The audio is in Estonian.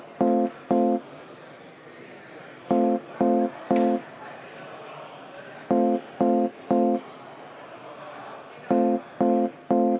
Palun võtta seisukoht ja hääletada!